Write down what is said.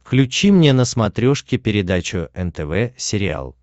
включи мне на смотрешке передачу нтв сериал